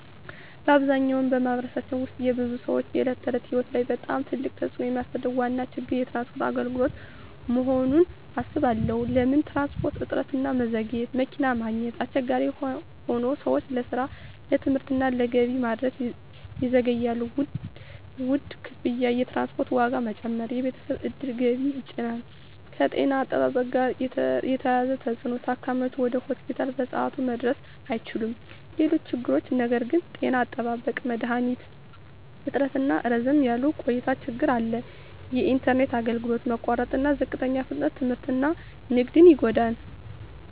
በአብዛኛው በማኅበረሰባችን ውስጥ የብዙ ሰዎች የዕለት ተዕለት ሕይወት ላይ በጣም ትልቅ ተፅዕኖ የሚያሳድረው ዋነኛ ችግር የትራንስፖርት አገልግሎት መሆኑን እባላለሁ። ለምን ትራንስፖርት? እጥረትና መዘግየት መኪና ማግኘት አስቸጋሪ ሆኖ ሰዎች ለስራ፣ ለትምህርት እና ለገበያ መድረስ ይዘገያሉ። ውድ ክፍያ የትራንስፖርት ዋጋ መጨመር የቤተሰብ ዕድል ገቢን ይጫን። ከጤና አጠባበቅ ጋር የተያያዘ ተፅዕኖ ታካሚዎች ወደ ሆስፒታል በሰዓቱ መድረስ አይችሉም። ሌሎች ችግሮች ነገር ግን… ጤና አጠባበቅ መድሀኒት እጥረትና ረዘም ያለ ቆይታ ችግር አለ። የኢንተርኔት አገልግሎት መቋረጥና ዝቅተኛ ፍጥነት ትምህርትና ንግድን ይጎዳል።